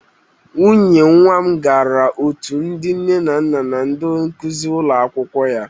Nwunye nwa m gara otu ndị nne na nna na ndị nkuzi ụlọ akwụkwọ ya.